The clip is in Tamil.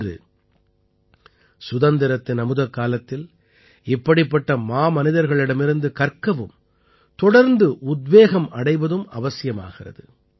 இன்று சுதந்திரத்தின் அமுதக்காலத்தில் இப்படிப்பட்ட மாமனிதர்களிடமிருந்து கற்கவும் தொடர்ந்து உத்வேகமடைவதும் அவசியமாகிறது